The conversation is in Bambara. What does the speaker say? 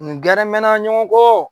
Nin gɛrɛ mɛn na ɲɔgɔn kɔ.